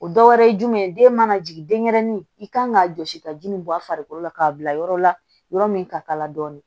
O dɔ wɛrɛ ye jumɛn ye den mana jigin denyɛrɛnin i kan ka jɔsi ka ji nin bɔ a farikolo la k'a bila yɔrɔ la yɔrɔ min ka k'a la dɔɔnin